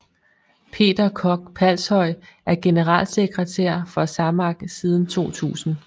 Peter Koch Palshøj er generalsekretær for SAMAK siden 2000